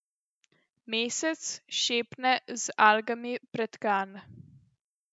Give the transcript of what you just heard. Mesec, šepne, z algami pretkan.